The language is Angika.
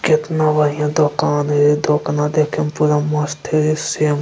केतना बढ़ियां दोकान है ये दोकाना देखेम पुरा मस्त हे रे सेम --